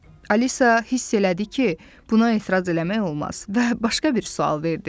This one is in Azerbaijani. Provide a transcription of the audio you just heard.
Alisa hiss elədi ki, buna etiraz eləmək olmaz və başqa bir sual verdi.